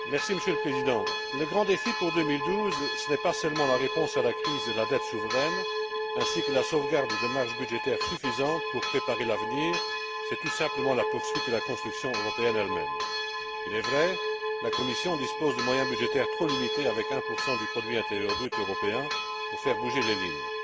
Monsieur le Président, le grand défi pour 2012, ce n'est pas seulement la réponse à la crise de la dette souveraine ainsi que la sauvegarde de marges budgétaires suffisantes pour préparer l'avenir, c'est tout simplement la poursuite de la construction européenne elle même. Il est vrai que la Commission dispose de moyens budgétaires trop limités avec 1 du produit intérieur brut européen pour faire bouger les lignes.